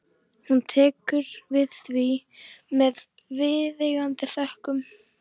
Hún tekur við því með viðeigandi þökkum.